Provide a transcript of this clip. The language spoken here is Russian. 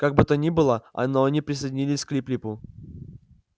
как бы то ни было а но они присоединились к лип липу